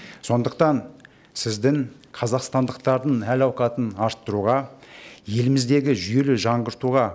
сондықтан сіздің қазақстандықтардың әл ауқатын арттыруға еліміздегі жүйелі жаңғыртуға